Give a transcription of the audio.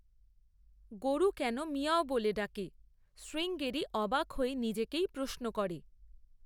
গরু কেন মিয়াঁও বলে ডাকে, শ্রীঙ্গেরি অবাক হয়ে নিজেকেই প্রশ্ন করে।